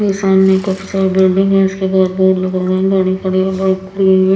इसके सामने काफी सारी बिल्डिंग है इसके बाद बोर्ड लगा हुआ हैं गाड़ी खड़ी हैं बाइक खड़ी हुई हैं ।